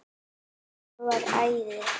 Það var æði.